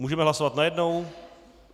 Můžeme hlasovat najednou?